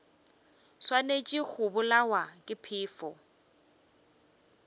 swanetše go bolawa ke phefo